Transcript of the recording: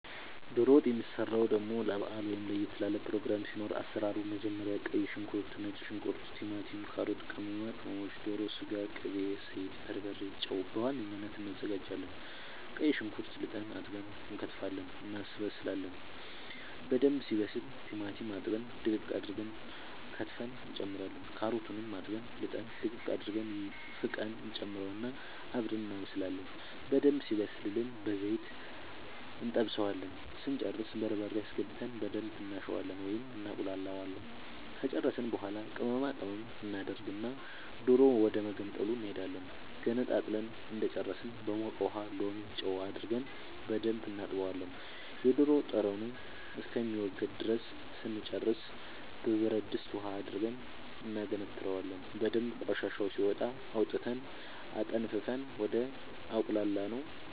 ዶሮ ወጥ የሚሰራው ደሞ ለባአል ወይም ለየት ላለ ፕሮግራም ሲኖር አሰራሩ መጀመሪያ ቀይ ሽንኩርት ነጭ ሽንኩርት ቲማቲም ካሮት ቅመማ ቅመሞች ዶሮ ስጋ ቅቤ ዘይት በርበሬ ጨው በዋነኝነት አናዘጋጃለን ቀይ ሽንኩርት ልጠን አጥበን እንከትፋለን እናበስላለን በደንብ ሲበስል ቲማቲም አጥበን ድቅቅ አርገን ከትፈን እንጨምራለን ካሮቱንም አጥበን ልጠን ድቅቅ አርገን ፍቀን እንጨምረውና አብረን እናበስላለን በደንብ ሲበስልልን በዘይት እንጠብሰዋለን ስንጨርስ በርበሬ አስገብተን በደንብ እናሸዋለን ወይም እናቁላለዋለን ከጨረስን በኃላ ቅመማ ቅመም እናደርግና ዶሮ ወደመገንጠሉ እንሄዳለን ገንጥለን እንደጨረስን በሞቀ ውሃ ሎሚ ጨው አርገን በደንብ እናጥበዋለን የዶሮ ጠረኑ እስከሚወገድ ድረስ ስንጨርስ በብረድስት ውሃ አድርገን እናገነትረዋለን በደንብ ቆሻሻው ሲወጣ አውጥተን አጠንፍፈን ወደ አቁላላነው